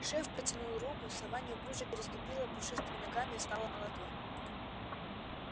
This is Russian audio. шеф протянул руку сова неуклюже переступила пушистыми ногами и встала на ладонь